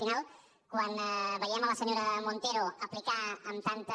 al final quan veiem la senyora montero aplicar amb tanta